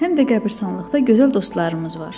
Həm də qəbirstanlıqda gözəl dostlarımız var.